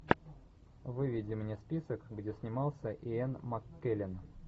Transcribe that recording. выведи мне список где снимался иэн маккеллен